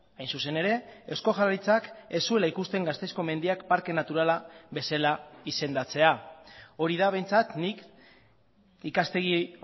hain zuzen ere eusko jaurlaritzak ez zuela ikusten gasteizko mendiak parke naturala bezala izendatzea hori da behintzat nik ikastegi